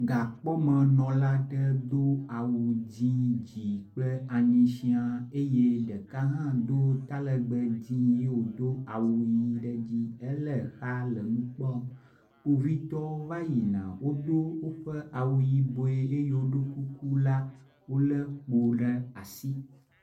Gakpɔmenɔla aɖe do awu dzi dzi kple anyi sia eye ɖeka hã do talegbe dzi ye wodo awu ʋi ɖe edzi. Ele exa le nu kplɔm. Kpovitɔwo va yina wodo woƒe awu yibɔe eye woɖo kuku la wo le kpo ɖe asi.